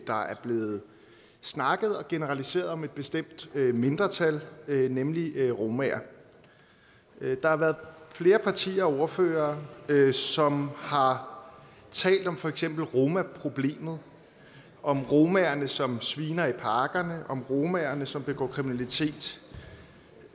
der er blevet snakket om og generaliseret om et bestemt mindretal nemlig romaer der har været flere partier og ordførere som har talt om for eksempel romaproblemet om romaerne som sviner i parkerne om romaerne som begår kriminalitet